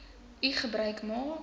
u gebruik maak